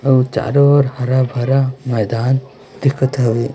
और चारों और हरा भरा मैदान दिखत हौ।